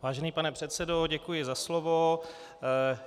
Vážený pane předsedo, děkuji za slovo.